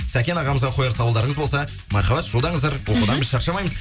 сәкен ағамызға қояр сауалдарыңыз болса мархабат жолдаңыздар оқудан біз шаршамаймыз